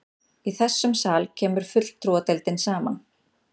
Í þessum sal kemur fulltrúadeildin saman.